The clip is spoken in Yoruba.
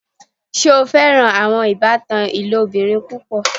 Ṣe o fẹ́ran awọn ìbàtàn ilobìrín púpọ̀?